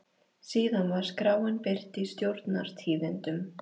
Síðan var skráin birt í Stjórnar- tíðindum.